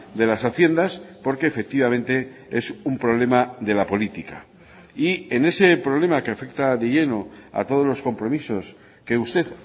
de las haciendas porque efectivamente es un problema de la política y en ese problema que afecta de lleno a todos los compromisos que usted